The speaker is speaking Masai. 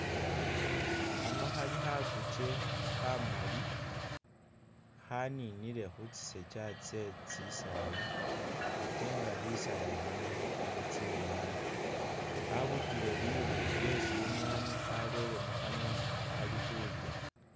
Hano Hali hakukye hamali, haninile hu tsisekya kye tsisaala ate nga bisaala bino bili tsimwani, habutile liru lye shimwani halere muhanwa ali hulya